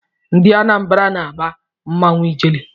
Ndị Anambara na-agba mmanwụ Ijele.